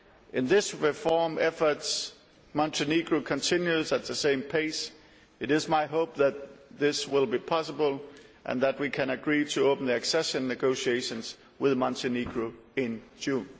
If these reform efforts in Montenegro continue at the same pace, it is my hope that this will be possible, and that we can agree to open accession negotiations with Montenegro in June.